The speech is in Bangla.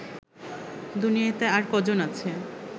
দুনিয়াতে আর কজন আছে